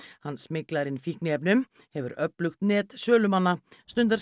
hann smyglar inn fíkniefnum hefur öflugt net sölumanna stundar